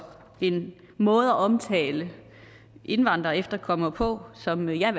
en måde at omtale indvandrere og efterkommere på som jeg